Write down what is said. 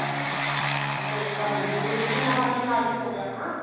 ਅੱਛਾ ਇੱਕ cup ਦੁੱਧ ਦੇ ਵਿੱਚ ਜਿੰਨਾ ਮਰਜੀ ਨਾਰੀਅਲ ਹੋਵੇ ਆਪਣਾ